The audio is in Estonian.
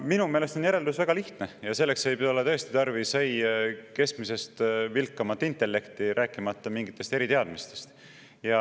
No minu meelest on järeldus väga lihtne, ja selleks ei ole tõesti tarvis keskmisest vilkamat intellekti, rääkimata mingitest eriteadmistest.